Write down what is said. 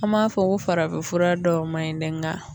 An m'a fɔ ko farafin fura dɔw man ɲi dɛ nka